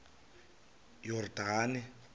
yordane